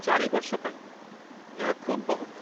୪ ବର୍ଷ ପାଇଁ, ଏହା ଖୁବ୍ ବହୁତ।